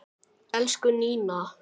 Elsku Nína.